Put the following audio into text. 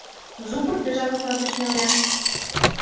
зубы безжалостно уточнил я